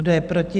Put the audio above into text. Kdo je proti?